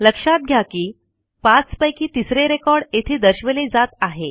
लक्षात घ्या की 5 पैकी तिसरे रेकॉर्ड येथे दर्शवले जात आहे